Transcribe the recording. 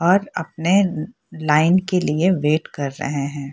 और अपने लाइन के लिए वेट कर रहे हैं।